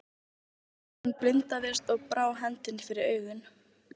Hann blindaðist og brá hendinni fyrir augun.